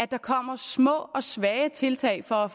der kommer små og svage tiltag for at